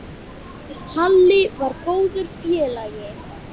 Halli var góður félagi.